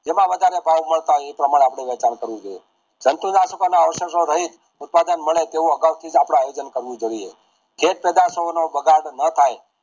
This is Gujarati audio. જેમાં વાહડરે ભાવ મળતા હોય એ પ્રમાણે આપણે વેચાણ કરવું જોઈએ જંતુ નાશક ના ઔષદો સહીત દુકાન મળે તેવા આગાઉ થીજ આપડે આયોજન કરવું જોઈએ ખેત પધારતો નું બગાડ ન થાય